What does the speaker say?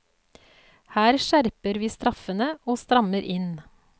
Her skjerper vi straffene og strammer inn.